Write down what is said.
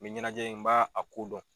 Nin ɲɛnajɛ in n b'a a ko dɔn.